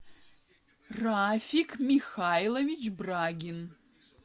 рафик михайлович брагин